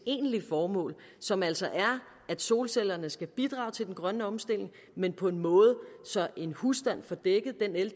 egentlige formål som altså er at solcellerne skal bidrage til den grønne omstilling men på en måde så en husstand får dækket den el